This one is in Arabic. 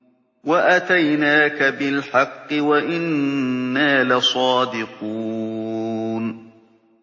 وَأَتَيْنَاكَ بِالْحَقِّ وَإِنَّا لَصَادِقُونَ